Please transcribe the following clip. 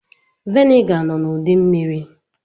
Viniga nọ n'ụdị mmiri.